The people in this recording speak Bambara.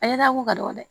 A ye dako ka dɔgɔ dɛ